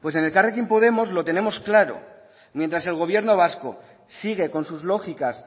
pues en elkarrekin podemos lo tenemos claro mientras el gobierno vasco sigue con sus lógicas